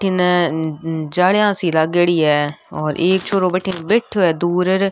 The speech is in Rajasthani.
जिनने जालियां सी लागेड़ी है और एक छोरो बठन बैठो है दूर --